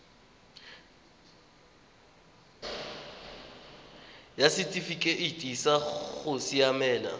ya setifikeite sa go siamela